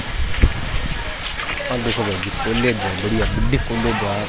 आ देखो भाईजी कॉलेज है बड़िया बड्डी कोलेज है आ।